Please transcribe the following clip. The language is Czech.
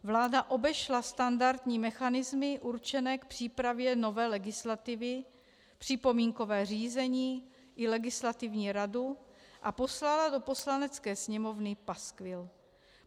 Vláda obešla standardní mechanismy určené k přípravě nové legislativy, připomínkové řízení i Legislativní radu a poslala do Poslanecké sněmovny paskvil.